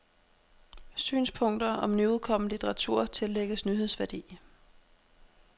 Synspunkter om nyudkommen litteratur tillægges nyhedsværdi.